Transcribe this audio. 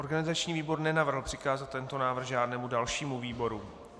Organizační výbor nenavrhl přikázat tento návrh žádnému dalšímu výboru.